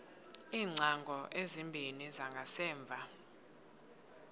iingcango ezimbini zangasemva